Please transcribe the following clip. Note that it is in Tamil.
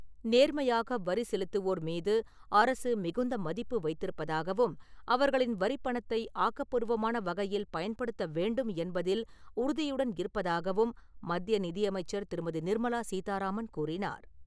நேர்மையாக வரி செலுத்துவோர் மீது அரசு மிகுந்த மதிப்பு வைத்திருப்பதாகவும் அவர்களின் வரிபணத்தை ஆக்கப்பூர்வமான வகையில், பயன்படுத்த வேண்டும் என்பதில் உறுதியுடன் இருப்பதாகவும் மத்திய நிதியமைச்சர் திருமதி. நிர்மலா சீதாராமன் கூறினார்.